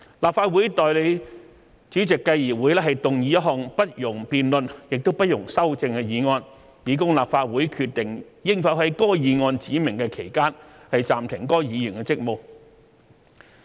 立法會代理主席繼而會動議一項不容辯論亦不容修正的議案，以供立法會決定應否在該議案指明的期間暫停該議員的職務。